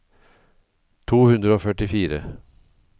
to hundre og førtifire